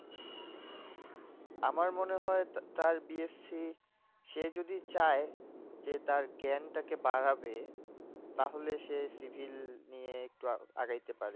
আমার মনে হয় তার BSC সে যদি চায়, যে তার জ্ঞানটাকে বাড়াবে, তাহলে সে civil নিয়ে একটু আগাইতে পারে।